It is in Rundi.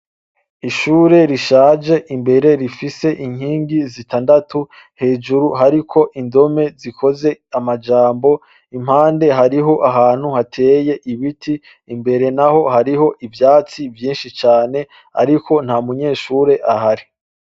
Ishure rishaje, imbere rifise inkingi zitandatu. Hejuru hariko indome zikoze amajambo .Impande, hariho ahantu hateye ibiti. Imbere n'aho hariho ivyatsi vyinshi cane ariko nta munyeshure ahari .